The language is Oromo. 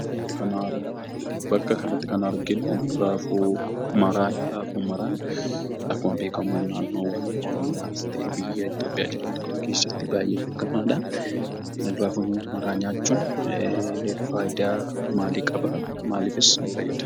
Bakka kanatti kan arginu raafuu maraadha. Raafuu maraan akkuma beekamu naannoowwan Oromiyaas ta'ee biyya Itoophiyaa jedhamtu kam keessatti baay'ee beekamaadha. Raafuu maraa nyaachuun faayidaa maalii qabaa? Maaliifis nu fayyada?